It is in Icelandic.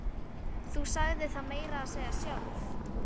Þú sagðir það meira að segja sjálf!